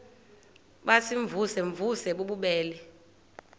baziimvuze mvuze bububele